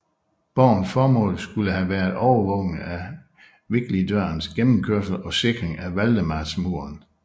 Borgens formål skulle have været overvågning af Viglidsdørens gennemkørsel og sikring af Valdemarsmuren